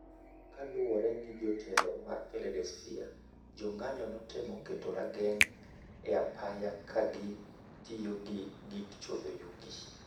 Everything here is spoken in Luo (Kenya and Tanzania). Kaluore gi jotelo mar Philadelphia, jong'anyo notemo keto rageng' e apaya kagi tiyo gi gik chodho yugi.